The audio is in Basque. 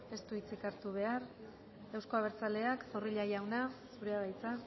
ez du hitzik hartu behar euzko abertzaleak zorrilla jauna zurea da hitza